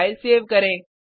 file save करें